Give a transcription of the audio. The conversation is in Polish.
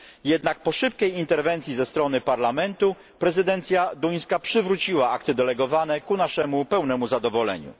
Jednak po szybkiej interwencji ze strony Parlamentu prezydencja duńska przywróciła akty delegowane ku naszemu pełnemu zadowoleniu.